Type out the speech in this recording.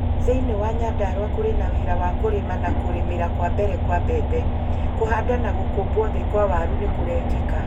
Thĩinĩ wa Nyandarua kũrĩ na wĩra wa kũrĩma na kũrĩmĩra kwa mbere kwa mbembe. Kũhanda na gũkũmbwo thĩ kwa waru nĩ kurekeka.